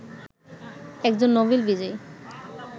একজন নোবেল বিজয়ী